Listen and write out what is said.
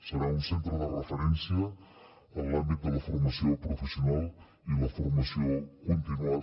serà un centre de referència en l’àmbit de la formació professional i la formació continuada